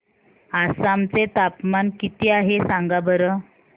आसाम चे तापमान किती आहे सांगा बरं